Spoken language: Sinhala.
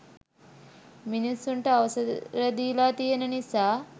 මිනිසුන්ට අවසර දීලා තියෙන නිසා.